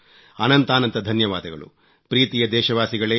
ಅನಂತಾನಂತ ಧನ್ಯವಾದಗಳು ಪ್ರೀತಿಯ ದೇಶವಾಸಿಗಳೇ